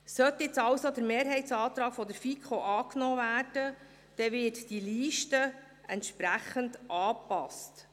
Sollte nun also der Mehrheitsantrag der FiKo angenommen werden, dann würde diese Liste entsprechend angepasst.